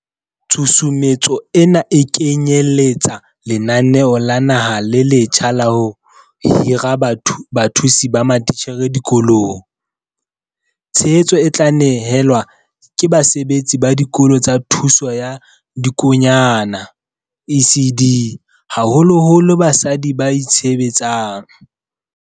Tshusumetso ena e kenyele tsa lenaneo la naha le letjha la ho hira bathusi ba matitjhere dikolong. Tshehetso e tla ne helwa ke basebetsi ba Dikolo tsa Thuto ya Dikonyana, ECD, haholoholo basadi ba itshebetsang.